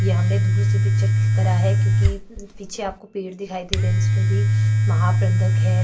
ये हमने दूर से पिक्चर क्लिक करा है क्योंकि पीछे आपको पेड़ दिखाई दे रहै हैं इसमें भी महाप्रबंधक है।